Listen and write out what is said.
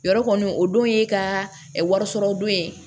Yɔrɔ kɔni o don ye ka wari sɔrɔ don ye